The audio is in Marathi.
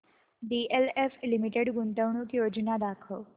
डीएलएफ लिमिटेड गुंतवणूक योजना दाखव